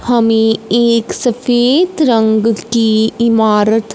हमें एक सफेद रंग की इमारत--